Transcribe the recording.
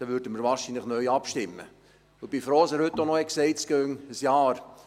Ich bin froh, dass er heute auch gesagt hat, bis man abstimme, gehe es ein Jahr.